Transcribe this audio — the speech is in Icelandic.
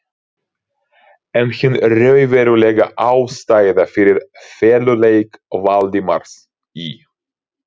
En hin raunverulega ástæða fyrir feluleik Valdimars í